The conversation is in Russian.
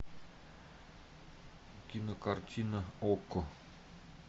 кинокартина окко